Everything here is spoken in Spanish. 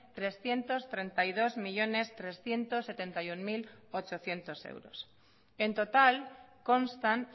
trescientos treinta y dos millónes trescientos setenta y uno mil ochocientos euros en total constan